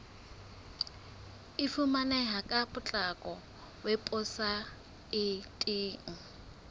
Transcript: e fumaneha ka potlako weposaeteng